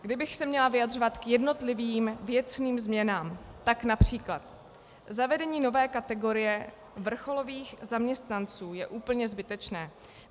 Kdybych se měla vyjadřovat k jednotlivým věcným změnám, tak například zavedení nové kategorie vrcholových zaměstnanců je úplně zbytečné.